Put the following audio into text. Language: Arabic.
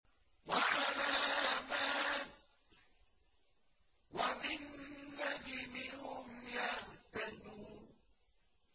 وَعَلَامَاتٍ ۚ وَبِالنَّجْمِ هُمْ يَهْتَدُونَ